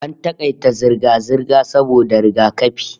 AN takaita zirga-zirga saboda rigakafi